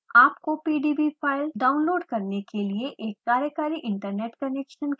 आपको pdb file download करने के लिए एक कार्यकारी इन्टरनेट कनेक्शन की जरुरत पड़ती है